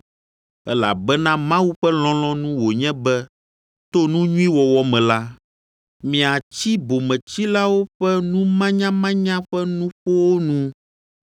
Elabena Mawu ƒe lɔlɔ̃nu wònye be to nu nyui wɔwɔ me la, miatsi bometsilawo ƒe numanyamanya ƒe nuƒowo nu.